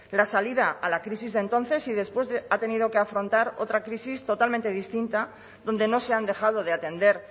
la salida a la crisis de entonces y después ha tenido que afrontar otra crisis totalmente distinta donde no se han dejado de atender